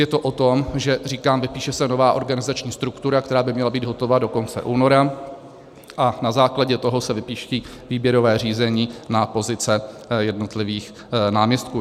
Je to o tom, že říkám, vypíše se nová organizační struktura, která by měla být hotova do konce února, a na základě toho se vypíší výběrová řízení na pozice jednotlivých náměstků.